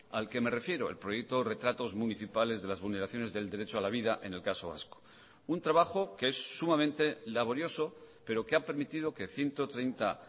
al que me refiero el proyecto retratos municipales de las vulneraciones del derecho a la vida en el caso vasco un trabajo que es sumamente laborioso pero que ha permitido que ciento treinta